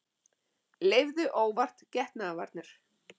Leyfðu óvart getnaðarvarnir